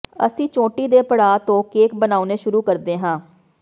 ਅਸੀਂ ਚੋਟੀ ਦੇ ਪੜਾਅ ਤੋਂ ਕੇਕ ਬਣਾਉਣੇ ਸ਼ੁਰੂ ਕਰਦੇ ਹਾਂ